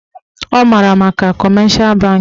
Ọ maara maka kọmeshal bankị